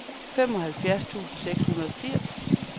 femoghalvfjerds tusind seks hundrede og firs